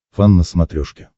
фан на смотрешке